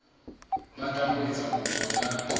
batlang ho etsa kopo ya